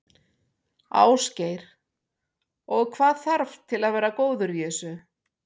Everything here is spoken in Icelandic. Ásgeir: Og hvað þarf til þess að vera góður í þessu?